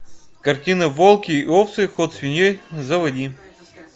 картина волки и овцы ход свиньей заводи